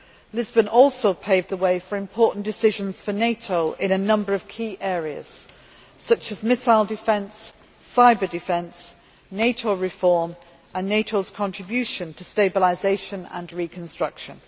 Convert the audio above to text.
Lisbon also paved the way for important decisions for NATO in a number of key areas such as missile defence, cyber defence, NATO reform and NATO's contribution to stabilisation and reconstruction.